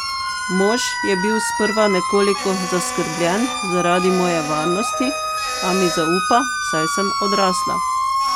Mož je bil sprva nekoliko zaskrbljen zaradi moje varnosti, a mi zaupa, saj sem odrasla.